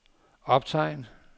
optegn